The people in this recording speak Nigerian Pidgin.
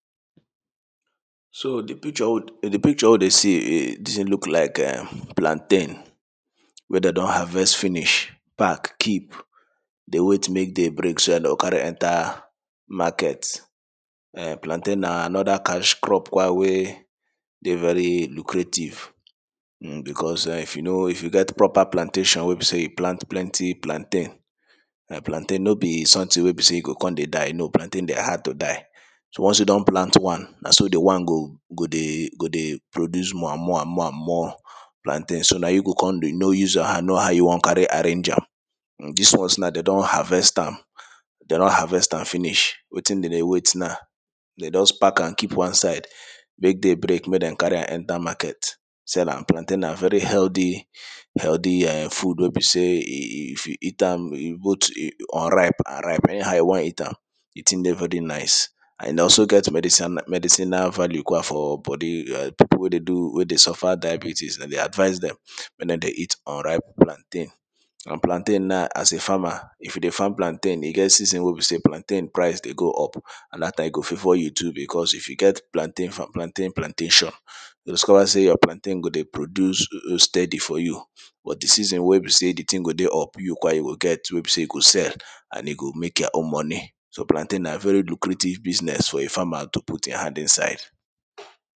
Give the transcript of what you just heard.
So di picture di picture wey we dey see di thing look like um plantain wey dem don harvest finish park, keep dey wait make day break so dat dem go carry enter market um plantain na anoda cash croop one wey dey very lucrative because if you no, if you get proper plantation wey be sey you plant plenty plantain and plantain no be something wey be sey e go come dey die no plantain dey hard to die so once you don plant one, na so di one go dey go dey produce more and more and more and more plantain so na you go come dey use your hand know how you want carry arrange am. Dis ones na dem don harvest am Dem don harvest am finish. Wetin dem dey wait now, dem just pack am keep one side make day break make dem carry enter market, sell am. Plantain na very healthy healthy um food wey be sey if you eat am both unripe and ripe anyhow you wan eat am di thing dey very nice and e also get medicin medicinal value kwa for body people wey dey do, wey dey suffer diabetics dem dey advice dem make dem dey eat unripe plantain and plantain na as a farmer if you dey farm plantain e get season wey be sey plantain price dey go up and dat time e go favour you too because if you get plantain for plantain plantation you go discover sey your plantain go dey produce steady for you but di season wey be di thing go dey up, you kwa you go get wey be sey you go sell and you go make your own money. So plantain na very lucrative business for a farmer to put e hand inside